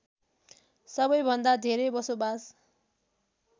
सबैभन्दा धेरै बसोबास